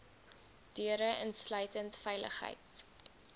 deure insluitend veiligheids